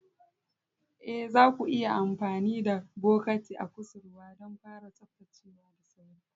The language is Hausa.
Ee, zaku iya amfani da bokatin a kusurwa don fara tsaftacewa da sauri.